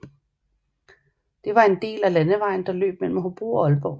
Den var en del af landevejen der løb mellem Hobro og Aalborg